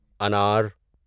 انار